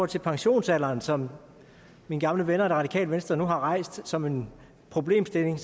til pensionsalderen som mine gamle venner det radikale venstre nu har rejst som en problemstilling